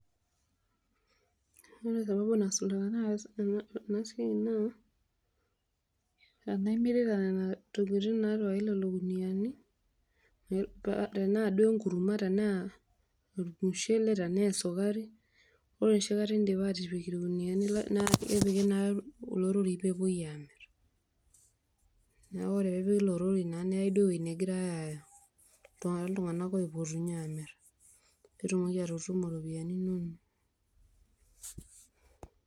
Ore sababu naas iltunganak ena siai naa tenaa imirita nena tokitin naatipikaki lelo kuniani tenaa duo enkurma tenaa olmushele aashu esukari ore enoshi kata indipa aatipik ilkuniani naa kepiki naa ele lori pee epuoi aamirr neeku pee epiki ilo lori naa neyai duo uwueji negirai aaya iltunganak ooiputinye aamir pee itum anoto ropiyiani inonok.